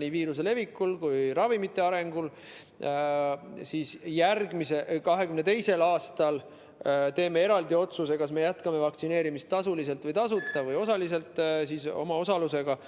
nii viiruse leviku kui ka ravimite väljatöötamise areng, me 2022. aastal teeme eraldi otsuse, kas me jätkame vaktsineerimist tasuliselt või tasuta või osaliselt omaosalusega.